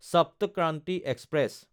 Sapt Kranti express